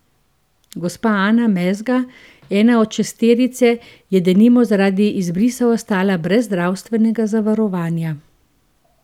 Gospa Ana Mezga, ena od šesterice, je denimo zaradi izbrisa ostala brez zdravstvenega zavarovanja.